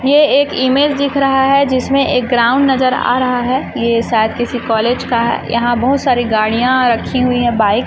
ये एक इमेज दिख रहा है जिसमें एक ग्राउंड नजर आ रहा है ये शायद किसी कॉलेज है का यहां बहुत सारी गाड़ियां रखी हुई है बाइक --